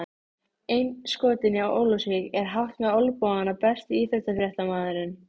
Hún snerist á sveif með þeim